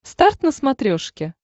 старт на смотрешке